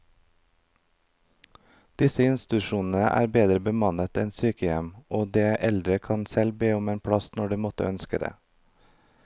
Disse institusjonene er bedre bemannet enn sykehjem, og de eldre kan selv be om en plass når de måtte ønske det.